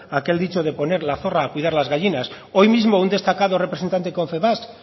aquel dicho de poner la zorra a cuidar las gallinas hoy mismo un destacado representante de confebask